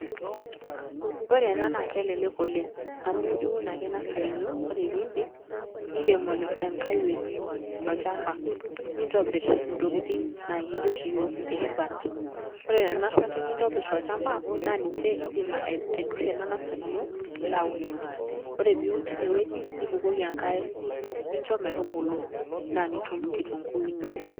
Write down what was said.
Ore ena naake elelek amu iun ake nasari ino, ore piindip nirem enkae wueji tolchamba nintobir intokitin naa kijo oshi iyiok eruat. Ore nena ruati nintobir tolchamba naa ninje iindim aidurie ena nasari ino nilo aunoki, ore piiun tine wueji nibukoki enkare ninjo metubulu naa nitum kitung'uu ino.